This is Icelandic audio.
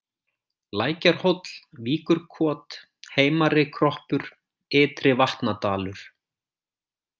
Lækjarhóll, Víkurkot, Heimarikroppur, Ytri-Vatnadalur